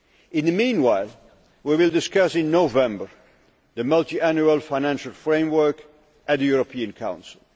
In the meanwhile, we will discuss in November the multiannual financial framework at the European Council.